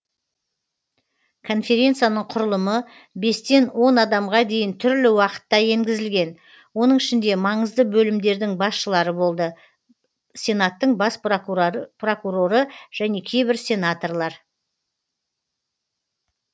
конференцияның құрылымы бестен он адамға дейін түрлі уақытта енгізілген оның ішінде маңызды бөлімдердің басшылары болды сенаттың бас прокуроры және кейбір сенаторлар